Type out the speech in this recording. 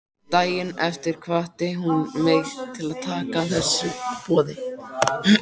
Daginn eftir hvatti hún mig til að taka þessu boði.